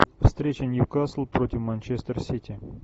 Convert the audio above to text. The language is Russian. встреча ньюкасл против манчестер сити